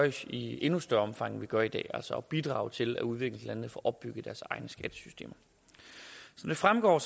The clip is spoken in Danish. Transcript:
i endnu større omfang end vi gør i dag altså bidrage til at udviklingslandene får opbygget deres egne skattesystemer som det fremgår